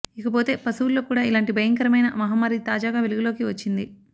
ఇకపోతే పశువుల్లో కూడా ఇలాంటి భయంకరమైన మహమ్మారి తాజాగా వెలుగులోకి వచ్చింది